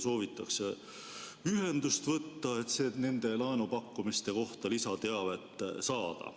Soovitatakse ühendust võtta, et nende laenupakkumiste kohta lisateavet saada.